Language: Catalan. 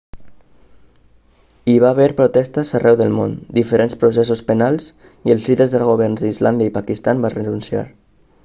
hi va haver protestes arreu del món diferents processos penals i els líders dels governs d'islàndia i el pakistan van renunciar